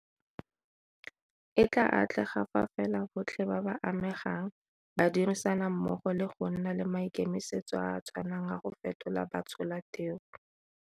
E tla atlega fa fela botlhe ba ba amegang ba dirisana mmogo le go nna le maikemisetso a a tshwanang a go fetola batsholateu.